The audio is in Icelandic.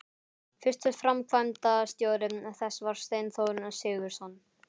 Fyrsti framkvæmdastjóri þess var Steinþór Sigurðsson.